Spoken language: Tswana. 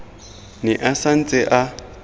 ne a sa ntse a